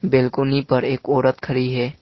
Balcony पर एक औरत खड़ी है।